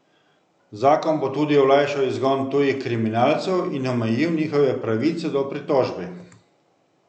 Zakon bo tudi olajšal izgon tujih kriminalcev in omejil njihove pravice do pritožbe.